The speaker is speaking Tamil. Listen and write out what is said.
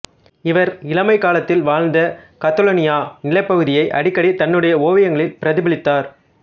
இவர் இளமைக் காலத்தில் வாழ்ந்த கத்தலோனியா நிலப்பகுதியை அடிக்கடி தன்னுடைய ஓவியங்களில் பிரதிபலித்தார்